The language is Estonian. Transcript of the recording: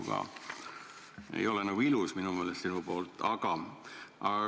See ei ole minu meelest sinu poolt ilus.